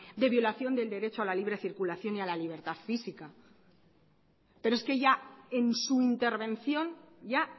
de violación del derecho a la libre circulación y a la libertad física pero es que ya en su intervención ya